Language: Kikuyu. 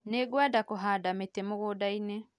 Nĩngwenda kũhanda mĩtĩ mũgũndainĩ